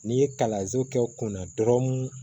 N'i ye kalanso kɛ u kunna dɔrɔnw